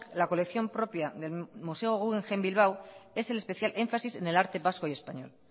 la colección propia del museo guggenheim bilbao es el especial énfasis en el arte vasco y español